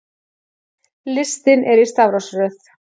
Listinn er í stafrófsröð.